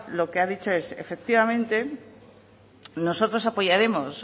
lo que ha dicho es que efectivamente nosotros apoyaremos